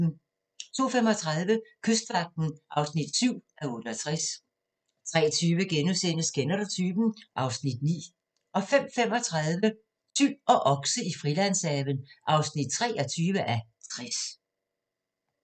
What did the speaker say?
02:35: Kystvagten (7:68) 03:20: Kender du typen? (Afs. 9)* 05:35: Tyl og okse i Frilandshaven (23:60)